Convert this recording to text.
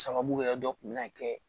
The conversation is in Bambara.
Sababu wɛrɛ dɔ kun bɛ na kɛ